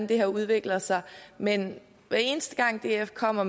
det her udvikler sig men hver eneste gang df kommer